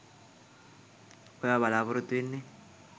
ඔයා බලාපොරොත්තු වෙන්නෙ